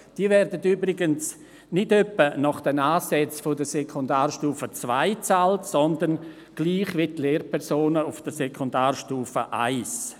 Diese werden übrigens nicht etwa nach den Ansätzen der Sekundarstufe II bezahlt, sondern gleich wie die Lehrpersonen auf der Sekundarstufe I.